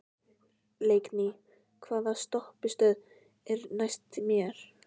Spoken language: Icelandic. Leikný, hvaða stoppistöð er næst mér?